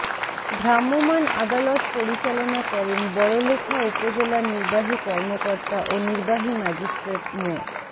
ভ্রাম্যমাণ আদালত পরিচালনা করেন বড়লেখা উপজেলা নির্বাহী কর্মকর্তা ও নির্বাহী ম্যাজিস্ট্রেট মো